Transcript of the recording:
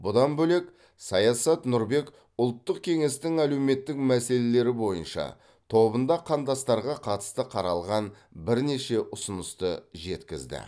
бұдан бөлек саясат нұрбек ұлттық кеңестің әлеуметтік мәселелері бойынша тобында қандастарға қатысты қаралған бірнеше ұсынысты жеткізді